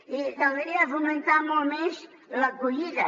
i que caldria fomentar molt més l’acollida